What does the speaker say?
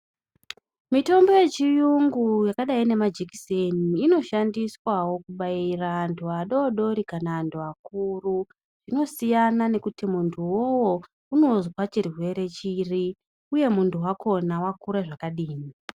Mitombo yechiyungu yakadai nemajekiseni inoshandiswa wo kubaira antu adodori kana antu akuru. Zvinosiyana nekuti muntu uwowo unozwa chirwere chiri. Uye muntu wakhona wakura zvakadini.